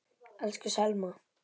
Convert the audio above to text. Elsku Selma.